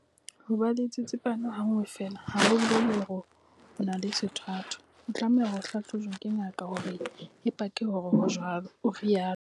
Ho ba le tsitsipano ha nngwe feela ha ho bolele hore o se o na le sethwathwa. O tlameha ho hlahlojwa ke ngaka hore e pake hore ho jwalo, o rialo.